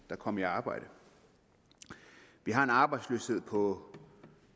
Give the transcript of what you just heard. kom i arbejde vi har en arbejdsløshed på